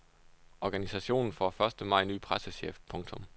Organisationen får første maj ny pressechef. punktum